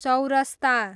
चौरस्ता